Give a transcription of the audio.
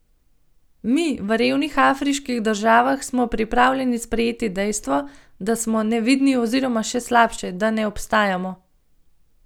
Mi, v revnih afriških državah, smo pripravljeni sprejeti dejstvo, da smo nevidni oziroma še slabše, da ne obstajamo.